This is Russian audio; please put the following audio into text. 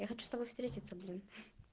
я хочу с тобой встретиться блин